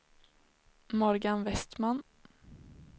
Morgan Westman